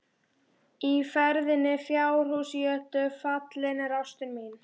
Í freðinni fjárhússjötu falin er ástin mín.